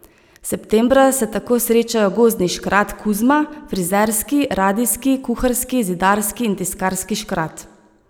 Septembra se tako srečajo gozdni škrat Kuzma, frizerski, radijski, kuharski, zidarski in tiskarski škrat.